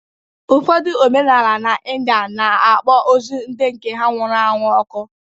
Ụfọdụ omenala n’India na-akpọ ozu ndị nke ha nwụrụ anwụ ọkụ